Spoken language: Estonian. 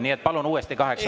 Nii et palun uuesti kaheksa …